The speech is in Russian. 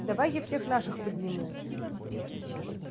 давай я всех наших подниму